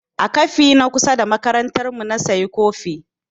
A kafe na kusa da makarantar mu na sayi kofi.